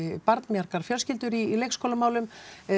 barnmargar fjölskyldur í leikskólamálum